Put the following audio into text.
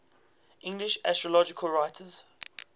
english astrological writers